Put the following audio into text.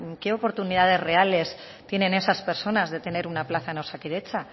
qué oportunidades reales tienen esas personas de tener una plaza en osakidetza